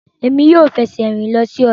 Emi yoo fẹsẹ rin lọ si ọja